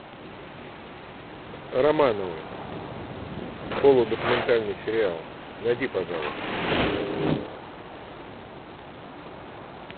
романовы полудокументальный сериал найди пожалуйста